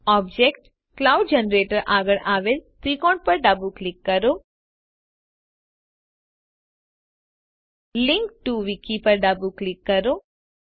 object cloud generator આગળ આવેલા ત્રિકોણ પર ડાબું ક્લિક કરો લિંક ટીઓ wikiપર ડાબું ક્લિક કરો